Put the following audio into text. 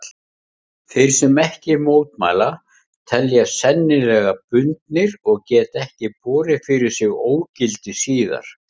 Þeir sem ekki mótmæla teljast sennilega bundnir og geta ekki borið fyrir sig ógildi síðar.